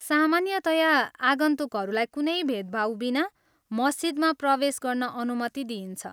सामान्यतया आगन्तुकहरूलाई कुनै भेदभाव बिना मस्जिदमा प्रवेश गर्न अनुमति दिइन्छ।